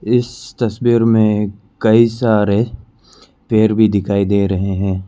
इस तस्वीर में कई सारे पेड़ भी दिखाई दे रहे हैं।